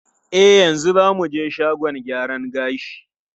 E, yanzu za mu je shagon gyaran gashi.